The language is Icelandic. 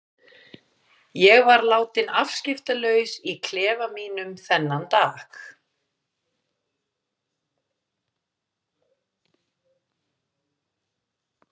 Ég var látin afskiptalaus í klefa mínum þennan dag.